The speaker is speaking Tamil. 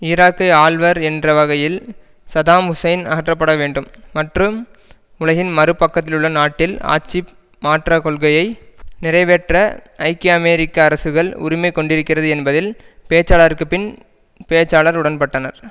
ஈராக்கை ஆள்வர் என்ற வகையில் சதாம் ஹூசைன் அகற்றப்பட வேண்டும் மற்றும் உலகின் மறு பக்கத்தில் உள்ள நாட்டில் ஆட்சி மாற்ற கொள்கையை நிறைவேற்ற ஐக்கிய அமெரிக்க அரசுகள் உரிமை கொண்டிருக்கிறது என்பதில் பேச்சாளருக்குப் பின் பேச்சாளர் உடன்பட்டனர்